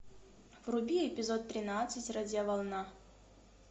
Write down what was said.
вруби эпизод тринадцать радиоволна